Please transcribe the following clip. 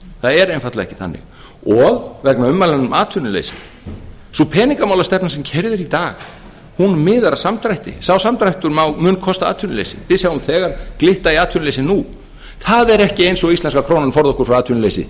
það er einfaldlega ekki þannig vegna ummælanna um atvinnuleysi sú penignamálastefna sem keyrð er í dag miðar að samdrætti sá samdráttur mun kosta atvinnuleysi við sjáum þegar glitta í atvinnuleysi nú það er ekki eins og íslenska krónan forði okkur frá atvinnuleysi